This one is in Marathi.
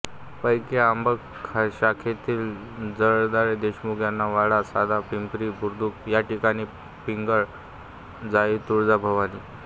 पैकी आंबक शाखेतील जगदाळे देशमुख यांचा वाडा सध्या पिंगळी बुद्रुक या ठिकाणी पिंगळजाईतुळजाभवानी